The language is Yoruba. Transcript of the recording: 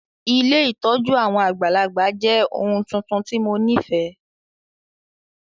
Ilé ìtójú àwon àgbàlagbà jẹ oun tuntun ti mo nifẹ.